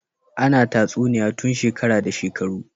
Ana tatsuniya tun shekara da shekaru